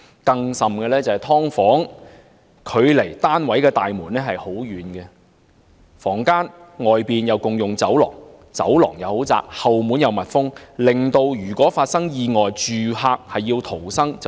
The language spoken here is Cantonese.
更甚者，"劏房"距離單位大門太遠，各個房間外共用的走廊太窄，後門又密封，一旦發生意外，住客難以逃生。